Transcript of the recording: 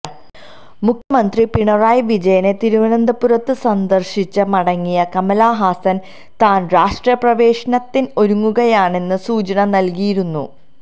മുഖ്യമന്ത്രി പിണറായി വിജയനെ തിരുവനന്തപുരത്ത് സന്ദര്ശിച്ച് മടങ്ങിയ കമല്ഹാസന് താന് രാഷ്ട്രീയ പ്രവേശനത്തിന് ഒരുങ്ങുകയാണെന്ന സൂചന നല്കിയിരുന്നു